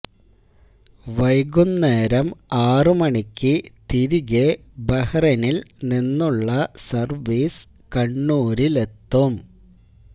വൈകുന്നേരം ആറ് മണിക്ക് തിരികെ ബഹ്റൈനില് നിന്നുള്ള സര്വീസ് കണ്ണൂരിലെത്തും